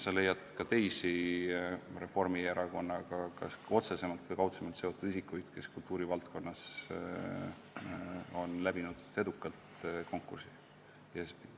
Sa leiad ka teisi Reformierakonnaga kas otsesemalt või kaudsemalt seotud isikuid, kes kultuurivaldkonnas on edukalt konkursi läbi teinud.